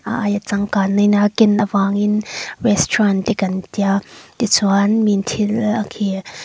a aia changkang na in a ken avangin restaurant te kan tia tichuan miin thil khi--